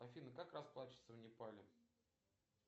афина как расплачиваться в непале